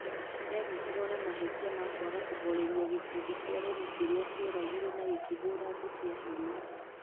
Nĩ aanyitirũo na mahĩtia ma kwaga kũhooreria gĩkundi kĩa aremi kĩrĩa kĩoragire na gĩkĩhũũra andũ kĩa hinya.